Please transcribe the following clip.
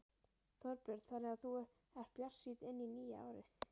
Þorbjörn: Þannig að þú ert bjartsýn inn í nýja árið?